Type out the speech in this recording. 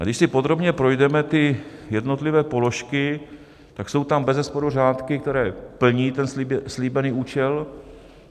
A když si podrobně projdeme ty jednotlivé položky, tak jsou tam bezesporu řádky, které plní ten slíbený účel.